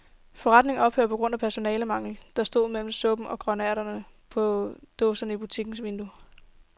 Forretningen ophører på grund af personalemangel, stod der mellem supper og grønærter på dåse i butikkens vindue.